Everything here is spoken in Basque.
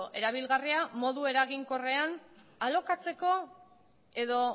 erabilgarria modu eraginkorrean alokatzeko edo